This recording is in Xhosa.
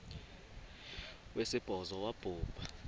wesibhozo wabhu bha